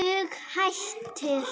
Dug hættir.